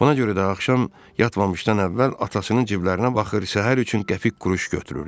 Buna görə də axşam yatmamışdan əvvəl atasının ciblərinə baxır, səhər üçün qəpik-quruş götürürdü.